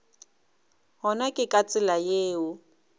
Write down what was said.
gona ke ka tsela yeo